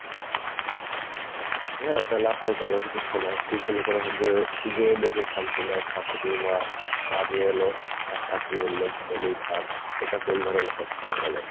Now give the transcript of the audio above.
হ্যাঁ তাহলে আপনাকে আরো কিছু শোনাই, টিউশনি করতে গিয়ে গিয়ে দেখি শান্তি নাই, ছাত্রীর মা চা নিয়ে এলো আর ছাত্রী বললো ঢেলে দেই sir, এটা কোন ধরণের কথা বলেন।